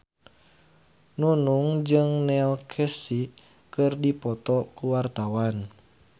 Nunung jeung Neil Casey keur dipoto ku wartawan